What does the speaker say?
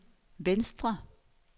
venstre